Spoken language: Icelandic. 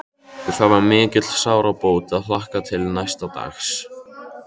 Og það var mikil sárabót að hlakka til næsta dags.